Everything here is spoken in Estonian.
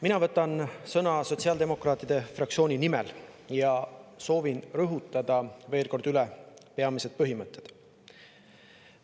Mina võtan sõna sotsiaaldemokraatide fraktsiooni nimel ja soovin veel kord rõhutada üle peamised põhimõtted.